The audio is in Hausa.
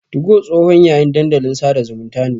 Tugo tsohon yayin dandalin sada zumunta ne.